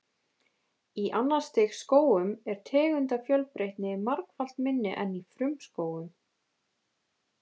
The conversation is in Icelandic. Í annars stigs skógum er tegundafjölbreytni margfalt minni en í frumskógum.